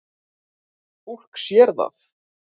Fólk sér það.